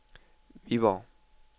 Viborg